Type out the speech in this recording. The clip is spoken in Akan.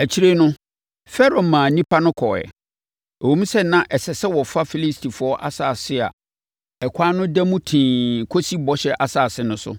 Akyire no, Farao maa nnipa no kɔeɛ. Ɛwom sɛ na ɛsɛ sɛ wɔfa Filistifoɔ asase a ɛkwan no da mu tee kɔsi Bɔhyɛ Asase no so,